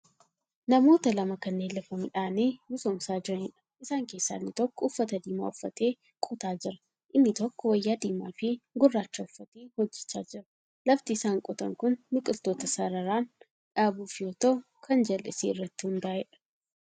Namoota lama kanneen lafa midhaanii misoomsaa jiraniidha. isaan keessaa inni tokko uffata diimaa uffatee qotaa Jira inni tokkommoo wayyaa diimaafi gurracha uffatee hojjachaa jira. lafti isaan qotan Kuni biqiltoota sararaam dhaabuuf yoo ta'u Kan jallisii irratti hundaa'eedha